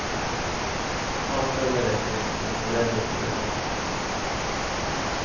Takhöjden räcker men på bredden blir det trångt.